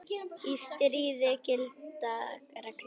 Í stríði gilda reglur.